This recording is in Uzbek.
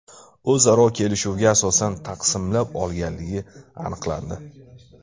o‘zaro kelishuviga asosan taqsimlab olganligi aniqlandi.